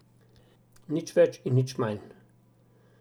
Nič več in nič manj.